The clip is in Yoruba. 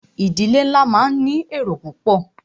Ìdílé nlá máà ní èrò púpọ̀.